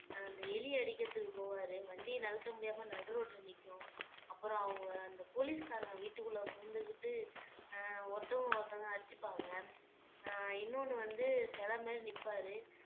அந்த எலி அடிக்கறதுக்கு போவாரு வண்டிய நகர்த்த முடியாம நடுரோட்டுல நிக்கும் அப்புறம் அவங்க அந்த போலீஸ்காரங்க வீட்டுக்குள்ள புகுந்துகிட்டு அஹ் ஒருத்தவங்க ஒருத்தங்க அடிச்சுப்பாங்க அஹ் இன்னொன்னு வந்து சிலை மாதிரி நிப்பாரு